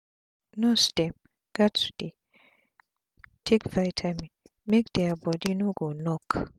nurse dem gats dey take vitamin make dia bodi no go knock